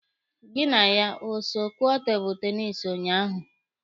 Gị na ya o so kụọ tebụlụ tenisi ụnyaahụ?